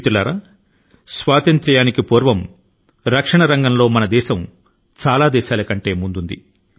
మిత్రులారా స్వాతంత్య్రాని కి ముందు రక్షణ రంగం లో మన దేశం ప్రపంచం లోని అనేక దేశాల కంటే ముందుంది